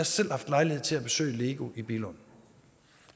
selv haft lejlighed til at besøge lego i billund